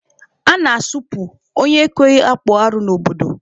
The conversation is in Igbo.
A na-asụpụ onye ekweghị akpụ arụ n'obodo.